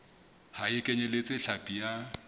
ha e kenyeletse hlapi ya